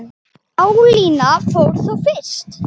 Pálína fór fyrst.